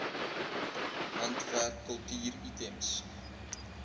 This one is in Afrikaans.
handwerk kultuur items